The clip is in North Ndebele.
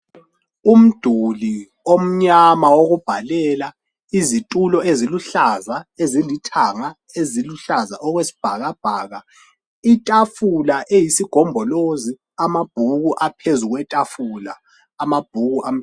Umduli omnyama owokubalela izithulo eziluhlaza ezilithanga eziluhlaza okwesibhakabhaka itafula eyisigombolozi amabhuku aphezulu kwetafula amabhuku.